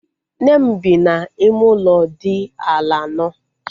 Nne m bi n'ime ụlọ dị ala anọ